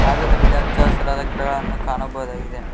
ಹಾಗು ಇದರಲ್ಲಿ ಹಚ್ಚ ಹಸಿರಾದ ಗಿಡಗಳನ್ನು ಕಾಣಬೋದಾಗಿದೆ.